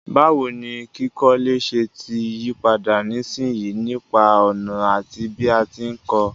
Báwoni kíkọ́lé se ti yípadà nísinsìyí nípa ònà àti bí a ti n ko